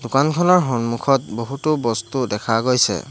দোকানখনৰ সন্মুখত বহুতো বস্তু দেখা গৈছে।